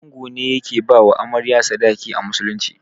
Ango ne yake bawa Amarya sadaki a musulunci.